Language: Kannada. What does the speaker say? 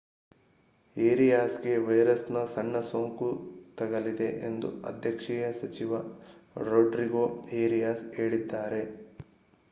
ಏರಿಯಾಸ್‌ಗೆ ವೈರಸ್‌ನ ಸಣ್ಣ ಸೋಂಕು ತಗುಲಿದೆ ಎಂದು ಅಧ್ಯಕ್ಷೀಯ ಸಚಿವ ರೊಡ್ರಿಗೋ ಏರಿಯಾಸ್ ಹೇಳಿದ್ದಾರೆ